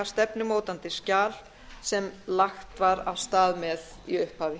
stefnumótandi skjal sem lagt var af stað með í upphafi